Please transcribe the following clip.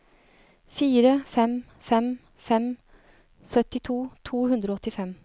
fire fem fem fem syttito to hundre og åttifem